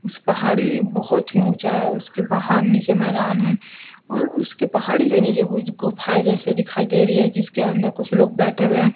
इस पहाड़ी बहोत ही ऊंचा है उसके बाहर नीचे मैदान है और उसके पहाड़ी के नीचे कुछ गुफाएं दिखाई दे रही है जिसके अंदर कुछ लोग बैठे हुए हैं।